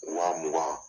Wa mugan